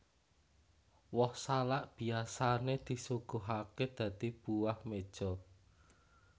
Woh salak biyasané disuguhaké dadi buah meja